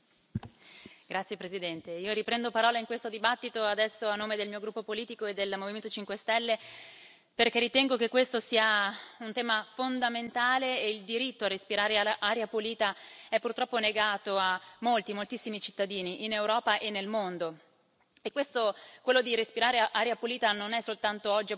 Signor Presidente, onorevoli colleghi, io riprendo la parola in questo dibattito, adesso a nome del mio gruppo politico e del Movimento 5 Stelle, perché ritengo che questo sia un tema fondamentale e il diritto a respirare aria pulita è purtroppo negato a molti, moltissimi cittadini in Europa e nel mondo. Quello di respirare aria pulita oggi non è soltanto